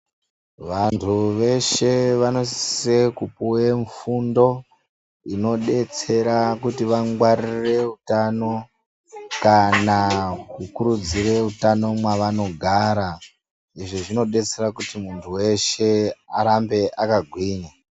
Vantu veshe vanosise kupuwe fundo inodetsera kuti vangwaririre utano kana kukurudzire utano mwavanogara. Izvi zvinodetsera kuti muntu weshe arambe akagwinya.